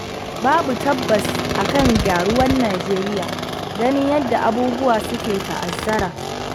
Babu tabbas akan gyaruwar Nijeriya, ganin yadda abubuwa suke ta'azzara.